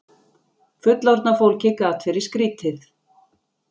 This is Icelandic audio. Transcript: Fullorðna fólkið gat verið skrýtið.